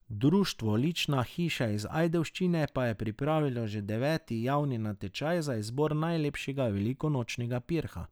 Društvo Lična hiša iz Ajdovščine pa je pripravilo že deveti javni natečaj za izbor najlepšega velikonočnega pirha.